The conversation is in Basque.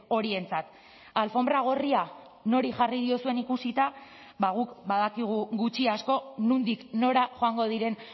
horientzat alfonbra gorria nori jarri diozuen ikusita ba guk badakigu gutxi asko nondik nora joango diren